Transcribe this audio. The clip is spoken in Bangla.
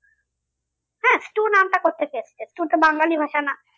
হ্যাঁ stew নামটা কথা থেকে এসছে stew তো বাঙালি ভাষা না।